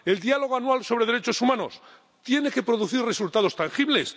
El diálogo anual sobre derechos humanos tiene que producir resultados tangibles.